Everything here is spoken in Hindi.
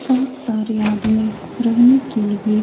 बोहोत सारे आदमी रहने के लिये --